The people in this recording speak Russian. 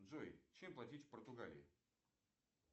джой чем платить в португалии